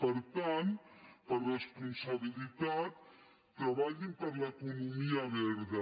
per tant per responsabilitat treballin per l’economia verda